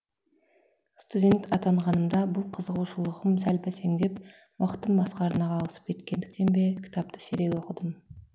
студент атанғанымда бұл қызығушылығым сәл бәсеңсіп уақытым басқа арнаға ауысып кеткендіктен бе кітапты сирек оқыдым